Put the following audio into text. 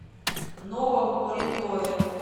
новом уренгое